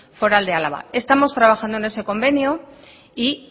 foral de álava estamos trabajando en ese convenio y